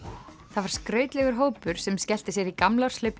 það var skrautlegur hópur sem skellti sér í gamlárshlaup